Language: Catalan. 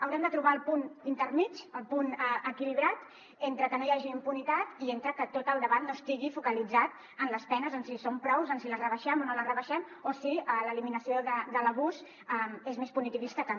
haurem de trobar el punt intermedi el punt equilibrat entre que no hi hagi impunitat i que tot el debat no estigui focalitzat en les penes en si són prous en si les rebaixem o no les rebaixem o si l’eliminació de l’abús és més punitivista que no